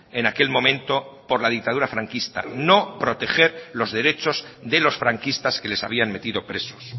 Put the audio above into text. en aquel momento por la dictadura franquista no proteger los derechos de los franquistas que les habían metido presos